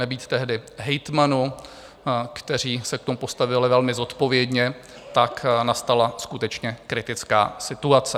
Nebýt tehdy hejtmanů, kteří se k tomu postavili velmi zodpovědně, tak nastala skutečně kritická situace.